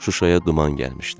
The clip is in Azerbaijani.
Şuşaya duman gəlmişdi.